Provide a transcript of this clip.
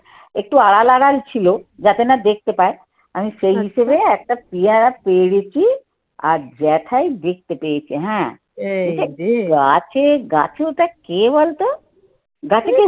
একটু আড়াল আড়াল ছিল যাতে না দেখতে পায় আমি সেই হিসেবে একটা পিয়ারা পেরেছি আর জ্যাঠাই দেখতে পেয়েছে হ্যাঁ। গাছে গাছে ওটা কে বলতো গাছেতে